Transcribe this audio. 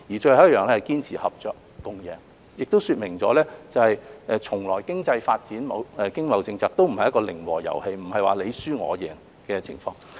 最後一項是堅持合作共贏，說明了經濟發展、經貿政策從來都不是零和遊戲，不是"你輸我贏"的情況。